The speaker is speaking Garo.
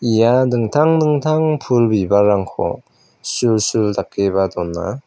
ia dingtang dingtang pul bibalrangko sulsul dakeba dona.